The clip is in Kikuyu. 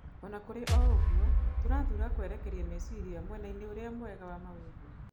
Ona kũrĩ oũguo, tũrathura kwerekeria meciria mwenainĩ ũrĩa mwega wa maũndũ.